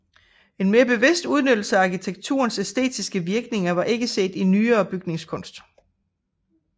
En mere bevidst udnyttelse af arkitekturens æstetiske virkninger var ikke set i nyere bygningskunst